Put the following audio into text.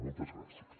moltes gràcies